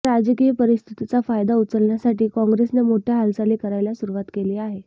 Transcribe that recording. या राजकीय परिस्थितीचा फायदा उचलण्यासाठी काँग्रेसने मोठ्या हालचाली करायला सुरुवात केली आहे